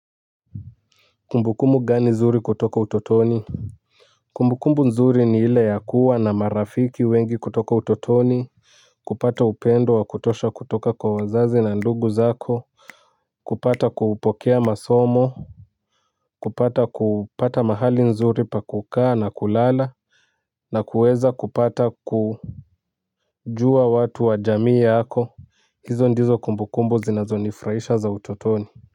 Kumbukumbu gani zuri kutoka utotoni? Kumbukumbu nzuri ni ile ya kuwa na marafiki wengi kutoka utotoni. Kupata upendo wa kutosha kutoka kwa wazazi na ndugu zako kupata kupokea masomo, kupata kupata mahali nzuri pa kukaa na kulala na kuweza kupata kujua watu wa jamii yako hizo ndizo kumbukumbu zinazonifurahisha za utotoni.